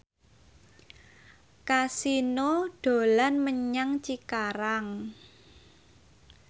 Kasino dolan menyang Cikarang